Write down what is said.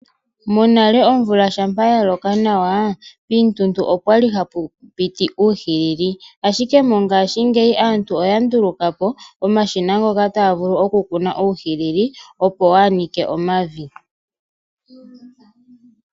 Monale omvula shampa ya loka nawa, piituntu opwali hapu piti uuhilili. Ashike mongaashingeyi aantu oya nduluka po omashina ngoka taga vulu oku kuna uuhilili, opo waa nike omavi.